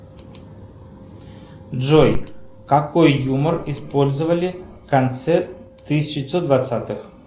джой какой юмор использовали в конце тысяча девятьсот двадцатых